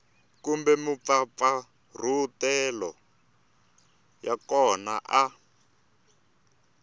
kumbe mampfampfarhutelo ya kona a